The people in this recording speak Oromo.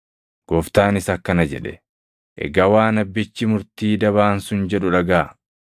Gooftaanis akkana jedhe; “Egaa waan abbichii murtii dabaan sun jedhu dhagaʼaa;